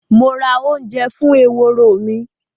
Mo ra ounje fún eworo mí